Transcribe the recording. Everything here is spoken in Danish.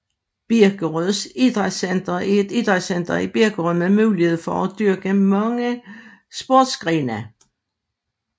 Birkerød Idrætscenter er et idrætsanlæg i Birkerød med mulighed for at dyrke mange sportsgrene